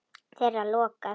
Þeirra lokað.